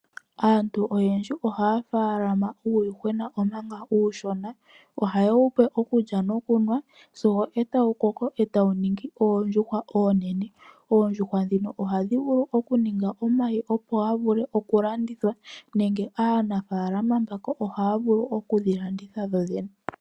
Aantu oyendji ohaya munu uuyuhwena, omanga uushona. Ohaye wupe okulya nokunwa, sigo e tawu koko, e tawu ningi oondjuhwa oonene. Oondjuhwa ndhino ohadhi vulu okuninga omayi, opo ga vule okulandithwa, nenge aanafaalama mbaka ohaya vulu okudhilanditha dhoodhene.